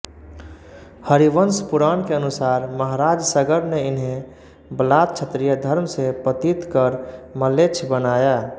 हरिवंश पुराण के अनुसार महाराज सगर न इन्हें बलात् क्षत्रियधर्म से पतित कर म्लेच्छ बनाया